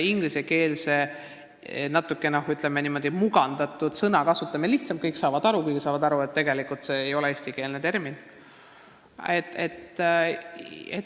Ingliskeelse, ütleme, natuke mugandatud sõna kasutamine on lihtsam: kõik saavad sellest aru, kuigi saavad aru sellestki, et tegelikult ei ole tegemist eestikeelse terminiga.